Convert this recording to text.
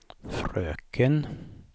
fröken